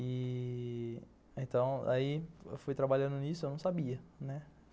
E... então, eu fui trabalhando nisso, eu não sabia.